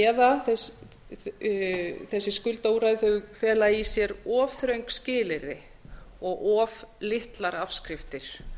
eða að þessi skuldaúrræði fela í sér of þröng skilyrði og of litla afskriftir